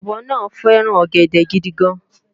ọ̀bọ náà fẹ́ràn ọ̀gẹ̀dẹ̀ gidigan